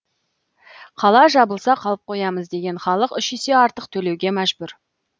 қала жабылса қалып қоямыз деген халық үш есе артық төлеуге мәжбүр